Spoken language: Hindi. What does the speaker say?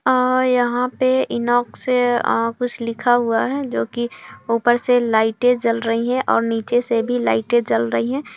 --आ यहाँ पे इनॉक्स से आ कुछ लिखा हुआ है जो ऊपर से लइटे जल रही है और नीचे से भी लइटे जल रही है।